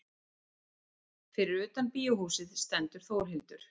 Fyrir utan bíóhúsið stendur Þórhildur.